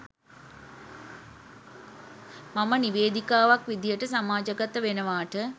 මම නිවේදිකාවක් විදිහට සමාජගත වෙනවාට.